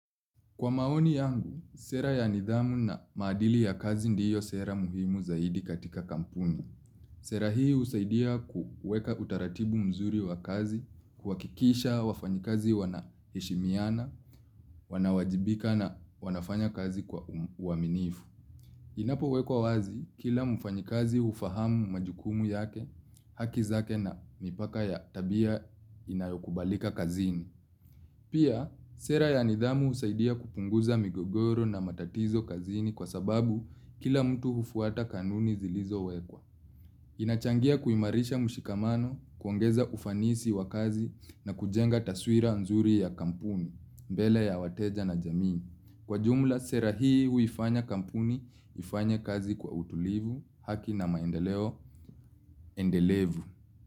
Kwa maoni yangu, sera ya nidhamu na maadili ya kazi ndiyo sera muhimu zaidi katika kampuni. Sera hii husaidia kuweka utaratibu mzuri wa kazi, kuhakikisha wafanyikazi wanaheshimiana, wanawajibika na wanafanya kazi kwa uaminifu. Inapowekwa wazi, kila mfanyikazi hufahamu majukumu yake, haki zake na mipaka ya tabia inayokubalika kazini. Pia, sera ya nidhamu husaidia kupunguza migogoro na matatizo kazini kwa sababu kila mtu hufuata kanuni zilizowekwa. Inachangia kuimarisha mshikamano, kuongeza ufanisi wa kazi na kujenga taswira nzuri ya kampuni, mbele ya wateja na jamii. Kwa jumla, sera hii huifanya kampuni, ifanye kazi kwa utulivu, haki na maendeleo, endelevu.